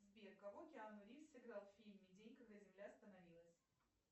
сбер кого киану ривз сыграл в фильме день когда земля остановилась